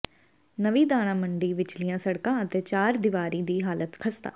ਨਵੀਂ ਦਾਣਾ ਮੰਡੀ ਵਿਚਲੀਆਂ ਸੜਕਾਂ ਅਤੇ ਚਾਰ ਦੀਵਾਰੀ ਦੀ ਹਾਲਤ ਖਸਤਾ